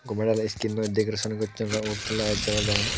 gome dali skinnoi decoration gocchon ugurendittun light jolodon.